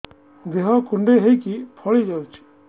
ଦେହ କୁଣ୍ଡେଇ ହେଇକି ଫଳି ଯାଉଛି